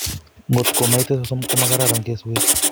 Kotko moite sosom komokororon keswek